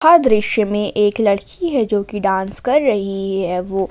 दृश्य मे एक लड़की है जो कि डांस कर रही है वो।